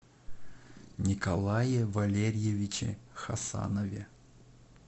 николае валерьевиче хасанове